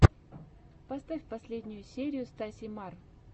поставь последнюю серию стаси мар